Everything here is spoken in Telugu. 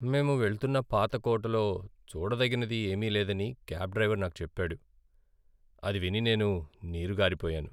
మేము వెళ్తున్న పాత కోటలో చూడదగినది ఏమీ లేదని క్యాబ్ డ్రైవర్ నాకు చెప్పాడు. అది విని నేను నీరుగారిపోయాను.